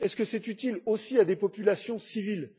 Est ce que c'est utile aussi à des populations civiles?